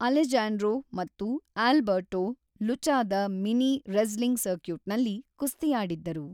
Alejandro ಮತ್ತು Alberto ಲುಚಾದ mini wrestling ಸರ್ಕ್ಯೂಟ್‌ನಲ್ಲಿ ಕುಸ್ತಿಯಾಡಿದ್ದರು.